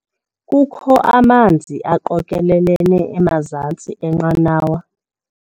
Kukho amanzi aqokelelene emazantsi enqanawa.